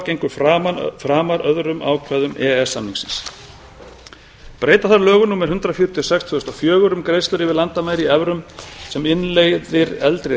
gengur framar öðrum ákvæðum e e s samningsins breyta þarf lögum númer hundrað fjörutíu og sex tvö þúsund og fjögur um greiðslur yfir landamæri í evrum sem innleiðir eldri